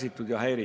Austatud minister!